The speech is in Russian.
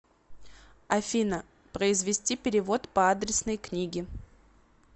афина произвести перевод по адресной книге